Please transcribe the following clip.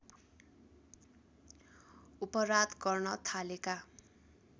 अपराध गर्न थालेका